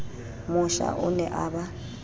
mosha o ne a ba